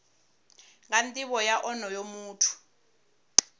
nga nivho ya onoyo muthu